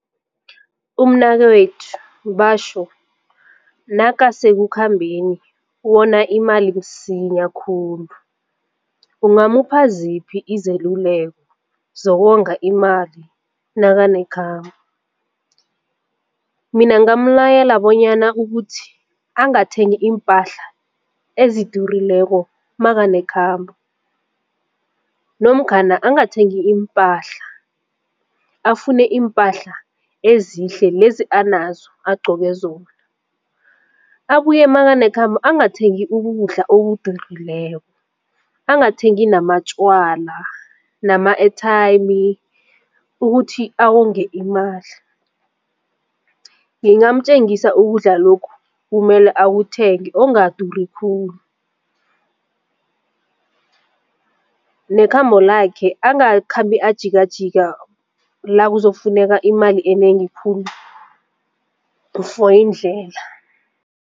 Umnakwethu batjho nakasekukhambeni wona imali msinya khulu ungamupha ziphi izeluleko zokonga imali nakanekhambo? Mina ngingamlayela bonyana ukuthi angathengi iimpahla ezidurileko makanekhambo nomkhana angathengi iimpahla afune iimpahla ezihle lezi anazo agqoke zona. Abuye makanekhambo angathengi ukudla okudurileko angathengi namatjwala nama-airtime ukuthi awonge imali. Ngingamtjengisa ukudla lokhu kumele akuthenge ongaduri khulu nekhamba lakhe angakhambi ajikajika khulu lakuzokufuneka imali enengi khulu for indlela.